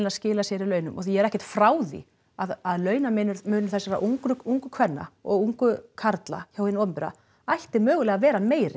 skila sér í launum og ég er ekkert frá því að launamunur þessara ungu ungu kvenna og ungu karla hjá hinu opinbera ætti mögulega að vera meiri